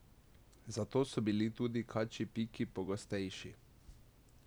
Zato so bili tudi kačji piki pogostejši.